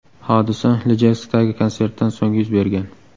Hodisa Ijevskdagi konsertdan so‘ng yuz bergan.